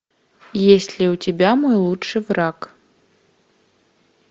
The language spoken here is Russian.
есть ли у тебя мой лучший враг